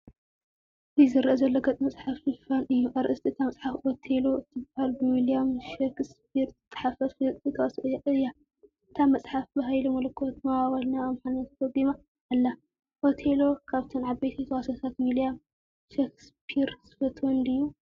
እዚ ዝርአ ዘሎ ገጽ መጽሓፍ ሽፋን እዩ። ኣርእስቲ እታ መጽሓፍ “ኦቴሎ” እትበሃል ብዊልያም ሸክስፒር ዝተጻሕፈት ፍልጥቲ ተዋስኦ እያ። እታ መጽሓፍ ብሃይለመለኮት ማዋወል ናብ ኣምሓርኛ ተተርጒማ ኣላ። ኦቴሎ ካብተን ዓበይቲ ተዋስኦታት ዊልያም ሸክስፒር ዝፈትወን ድዩ?